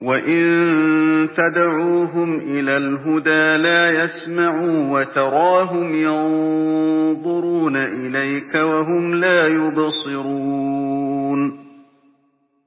وَإِن تَدْعُوهُمْ إِلَى الْهُدَىٰ لَا يَسْمَعُوا ۖ وَتَرَاهُمْ يَنظُرُونَ إِلَيْكَ وَهُمْ لَا يُبْصِرُونَ